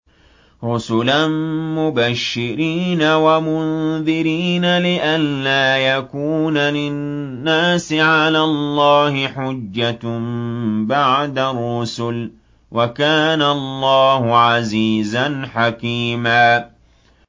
رُّسُلًا مُّبَشِّرِينَ وَمُنذِرِينَ لِئَلَّا يَكُونَ لِلنَّاسِ عَلَى اللَّهِ حُجَّةٌ بَعْدَ الرُّسُلِ ۚ وَكَانَ اللَّهُ عَزِيزًا حَكِيمًا